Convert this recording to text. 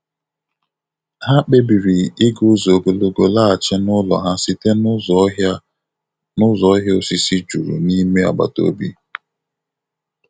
Ha kpebiri ịga ụzọ ogologo laghachi n'ụlọ ha site n'ụzọ ọhịa n'ụzọ ọhịa osisi juru n'ime agbataobi.